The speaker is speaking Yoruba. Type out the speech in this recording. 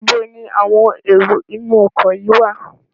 Níbo ni àwọn èrò inú ọkọ̀ yìí wá?